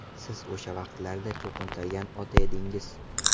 Siz o‘sha vaqtlarda cho‘qintirgan ota edingiz.